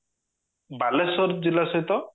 ବାଲେଶ୍ଵର ଜିଲ୍ଲା ସହିତ